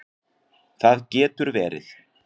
Það getur verið